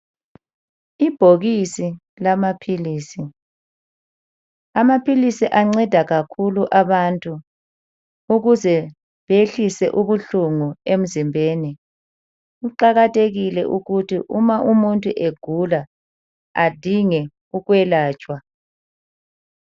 Ibhokisi lamaphilisi amaphilisi anceda kakhulu abantu ukuze behlise ubuhlungu emzimbeni. Kuqakathekile ukuthi uma umuntu egula adinge ukwelatshwa.